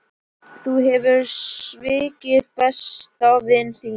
Þú hefur svikið besta vin þinn.